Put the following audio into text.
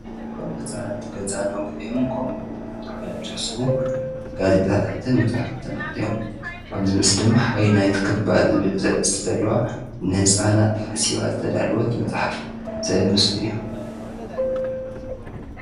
እቶም ነፃናት ገዛናጕዕ እዮም ከምህ እዮምተኃሎም ዙሕሰቡ ጋዜጣታትን መጻሕፋት ኣልኃደዮም ኣብዝ ምስ ድማ ኃይልናይት ክባ ዝብል ዘስተልዋ ንሕፃናት ሓሲባ ዝተዳልወት መጽሕፍ ዘ ምስሉ እዩ።